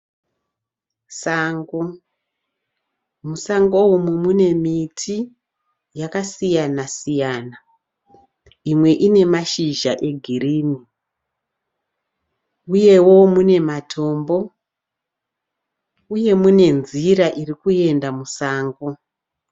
Sango, musango umu mune miti yakasiyana siyana imwe ine mashizha egirini uyewo mune matombo uye mune nzira iri kuenda musango.